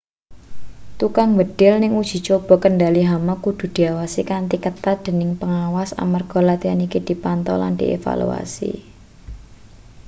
tukang mbedhil ning uji coba kendhali hama kudu diawasi kanthi ketat dening pengawas amarga latian iki dipantau lan dievaluasi